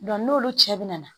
n'olu cɛ bɛ na